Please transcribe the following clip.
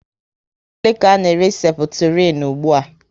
Ego ole ka a n'ere Seputirin ugbua?